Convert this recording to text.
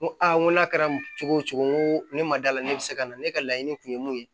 N ko aa n ko n'a kɛra cogo o cogo n ko ne ma d'a la ne bɛ se ka na ne ka laɲini kun ye mun ye